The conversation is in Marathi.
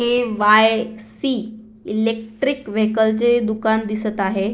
के वाय सी इलेक्ट्रिक वेहिकल चे दुकान दिसत आहे.